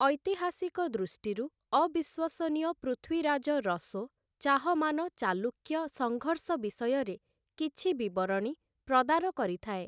ଐତିହାସିକ ଦୃଷ୍ଟିରୁ ଅବିଶ୍ୱସନୀୟ 'ପୃଥ୍ୱୀରାଜ ରସୋ' ଚାହମାନ ଚାଲୁକ୍ୟ ସଙ୍ଘର୍ଷ ବିଷୟରେ କିଛି ବିବରଣୀ ପ୍ରଦାନ କରିଥାଏ ।